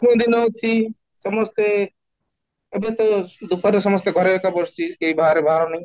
କୋଉ ଦିନ ଅଛି ସମସ୍ତେ ଏବେ ତ ଦୁଃଖରେ ସମସ୍ତେ ଘରେ ଏକ ବସିଛି, କେହି ବାହାରେ ବାହାର ନାଇଁ